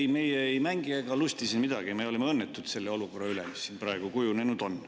Ei, meie ei mängi ega lusti siin midagi, me oleme õnnetud selle olukorra üle, mis siin praegu kujunenud on.